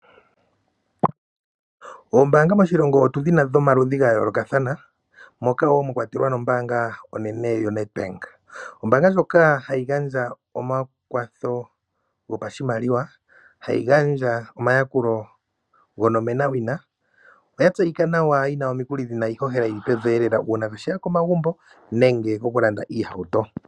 Oombaanga moshilongo otudhina dhomaludhi gayoolokathana ,moka woo mwakwatelwa nombaanga onene yoNedbank . Ombaanga ndjoka ohayi gandja omakwatho gopashimaliwa, hayi gandja omayakulo gonomenawina. Oya tseyika nawa yina omikuli dhili pevielela uuna tolanda sha shokomagumbo nenge tolanda iihauto.